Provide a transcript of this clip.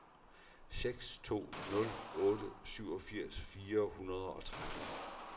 seks to nul otte syvogfirs fire hundrede og tretten